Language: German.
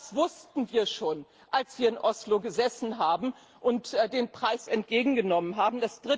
Auch das wussten wir schon, als wir in Oslo gesessen und den Preis entgegengenommen haben.